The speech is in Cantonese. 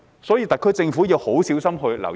所以，特區政府要很小心留意。